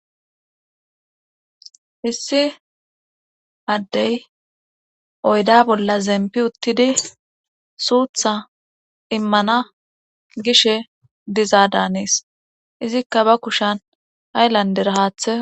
Issi addey oyda bolla zemppi uttidi suutha immana gishe diza daanes izikka ba kushan haylanddera haathe.